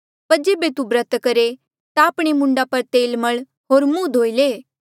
पर जेबे तू ब्रत करहे ता आपणे मूंडा पर तेल मल होर मुंह धोई ले